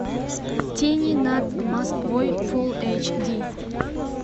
тени над москвой фулл эйч ди